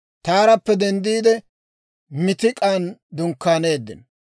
Taarappe denddiide, Miitik'an dunkkaaneeddino.